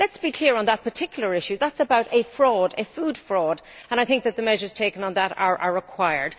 Let us be clear on that particular issue that is about fraud, a food fraud, and I think that the measures taken on that are required.